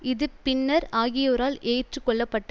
இது பின்னர் ஆகியோரால் ஏற்று கொள்ளப்பட்டது